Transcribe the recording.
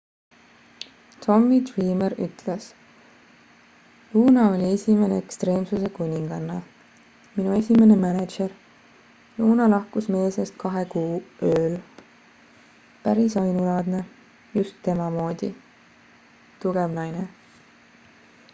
tommy dreamer ütles luna oli esimene ekstreemsuse kuninganna minu esimene mänedžer luna lahkus meie seast kahe kuu ööl päris ainulaadne just tema moodi tugev naine